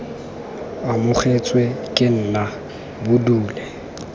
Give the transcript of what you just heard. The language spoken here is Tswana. amogetswe ke nna bo dule